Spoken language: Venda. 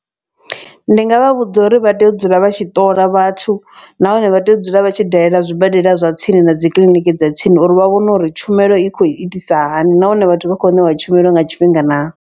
Ndi nga vha vhudza uri vha tea u dzula vha tshi ṱola vhathu nahone vha tea u dzula vha tshi dalela zwibadela zwa tsini na dzi kiḽiniki dza tsini. Uri vha vhone uri tshumelo i khou itisa hani nahone vhathu vha khou ṋewa tshumelo nga tshifhinga naa.